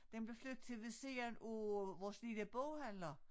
Den bliver flyttet til ved siden af vores lille boghandler